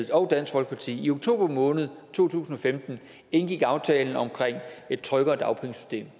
og dansk folkeparti i oktober måned to tusind og femten indgik aftalen om et tryggere dagpengesystem